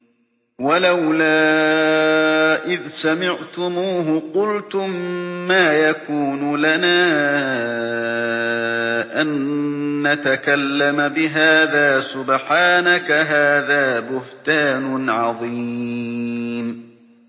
وَلَوْلَا إِذْ سَمِعْتُمُوهُ قُلْتُم مَّا يَكُونُ لَنَا أَن نَّتَكَلَّمَ بِهَٰذَا سُبْحَانَكَ هَٰذَا بُهْتَانٌ عَظِيمٌ